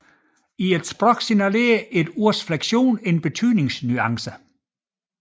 I et sprog signalerer ordets flektion en betydningsnuance